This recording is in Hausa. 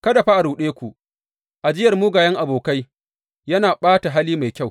Kada fa a ruɗe ku, Ajiyar mugayen abokai yana ɓata hali mai kyau.